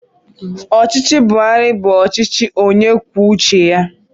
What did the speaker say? Ọchịchị Buharị bụ ọchịchị onye kwuo uche ya.